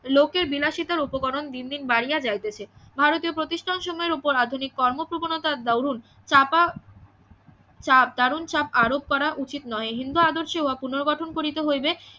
লোকের বিলাসিতার উপকরণ দিন দিন বাড়িয়া যাইতাছে ভারতীয় প্রতিষ্ঠান সময়ের ওপর আধুনিক কর্মপ্রবণতার দরুন চাপা দারুন চাপ আরোপ করা উচিত নহে হিন্দু আদর্শের উহা পুনর্গঠন করিতে হইবে